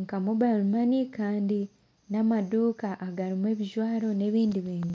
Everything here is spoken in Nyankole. nka mobile money Kandi n'amaduka agarumu ebijwaro n'ebindi bintu.